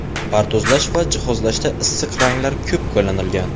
Pardozlash va jihozlashda issiq ranglar ko‘p qo‘llanilgan.